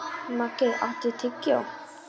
Maggey, áttu tyggjó?